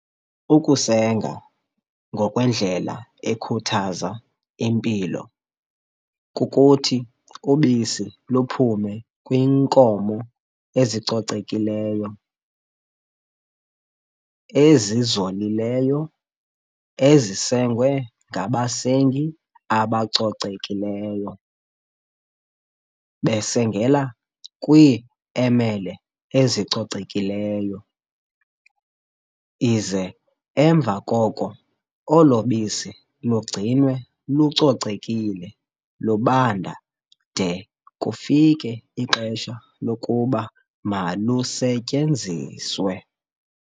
Ukusenga ngokwe ndlela ekhuthaza impilo, kukuthi ubisi luphume kwiinkomo ezicocekileyo, ezizolileyo ezisengwe ngabasengi abacocekileyo, besengela kwi emele ezicocekileyo, ize emva koko olobisi lugcinwe lucocekile lubanda de kufike ixesha lokuba malusetyenziswe.